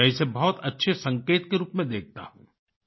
मैं इसे बहुत अच्छे संकेत के रूप में देखता हूँ